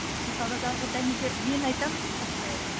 нысанадағы дәнекер мен айтамын постоянно